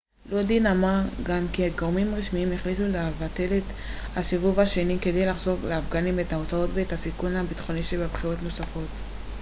לודין אמר גם כי גורמים רשמיים החליטו לבטל את הסיבוב השני כדי לחסוך לאפגנים את ההוצאות ואת הסיכון הביטחוני שבבחירות נוספות